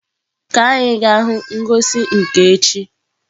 Ka anyị gaa hụ ngosi nka echi.